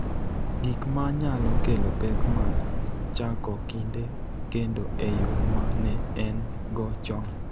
Gik ma nyalo kelo pek mag chako kinde kendo e yo ma ne en-go chon,